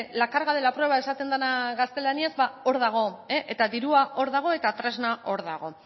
la carga de la prueba esaten dena gaztelaniaz ba hor dago eta dirua hor dago eta tresna hor dago